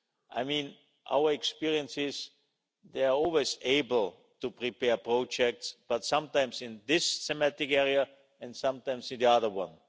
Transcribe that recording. In our experience, they are always able to prepare projects but sometimes in this thematic area and sometimes in another one.